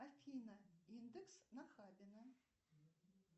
афина индекс нахабино